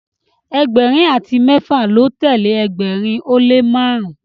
ẹgbẹrin ati mẹfa lọ telee ẹgbẹrin o le marun.